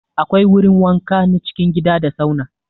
Akwai wurin wanka na cikin gida da sauna.